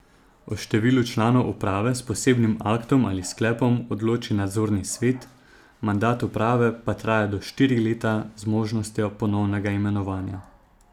O številu članov uprave s posebnim aktom ali sklepom odloči nadzorni svet, mandat uprave pa traja do štiri leta z možnostjo ponovnega imenovanja.